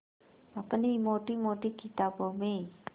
अपनी मोटी मोटी किताबों में